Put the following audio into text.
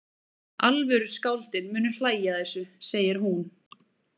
Alvöru skáldin munu hlæja að þessu, segir hún.